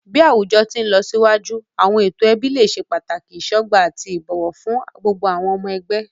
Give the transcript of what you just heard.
Bi awujọ ti nlọsiwaju, awọn eto ẹbi le ṣe pataki isọgba ati ibowo fun gbogbo awọn ọmọ ẹgbẹ.